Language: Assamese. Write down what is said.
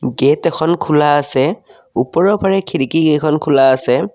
গেট এখন খোলা আছে ওপৰৰ পাৰে খিৰকী কেইখন খোলা আছে।